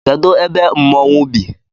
Kedụ ebe mmonwu bi?